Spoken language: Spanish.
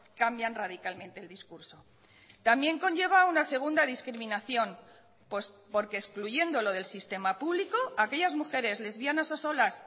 cambian radicalmente el discurso también conlleva una segunda discriminación pues porque excluyéndolo del sistema público aquellas mujeres lesbianas o solas